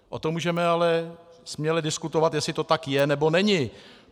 O tom můžeme ale směle diskutovat, jestli to tak je, nebo není.